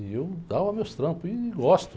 E eu dava meus trampos, e gosto.